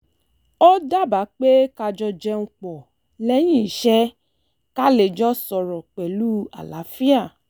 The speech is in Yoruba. ó daba pé ká jọ jẹun pọ̀ lẹ́yìn iṣẹ́ ká lè jọ sọ̀rọ̀ pẹ̀lú àlàáfíà